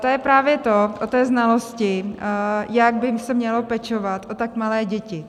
To je právě to o té znalosti, jak by se mělo pečovat o tak malé děti.